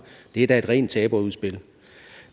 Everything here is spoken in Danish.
det er da rent taberudspil